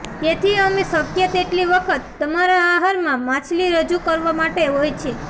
તેથી અમે શક્ય તેટલી વખત તમારા આહારમાં માછલી રજૂ કરવા માટે હોય છે